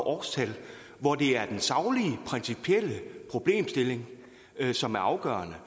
årstal hvor det er den saglige principielle problemstilling som er afgørende